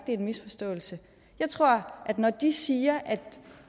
det er en misforståelse jeg tror at det når de siger at